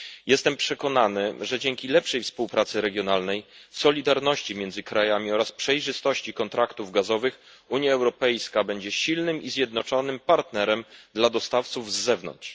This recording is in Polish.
Jestem przekonany, że dzięki lepszej współpracy regionalnej, solidarności między krajami oraz przejrzystości kontraktów gazowych Unia Europejska będzie silnym i zjednoczonym partnerem dla dostawców z zewnątrz.